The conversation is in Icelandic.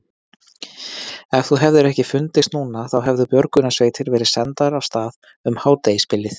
Ef þú hefðir ekki fundist núna þá hefðu björgunarsveitir verið sendar af stað um hádegisbilið.